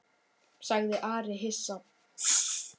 sagði Ari hissa.